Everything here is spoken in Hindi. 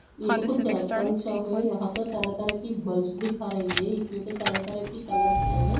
ये तो कुछ एलेक्ट्रोनिक शॉप हैं यहां तो तरह-तरह की बल्ब्स दिखा रही है इसमें तो तरह तरह की कलर्स हैं।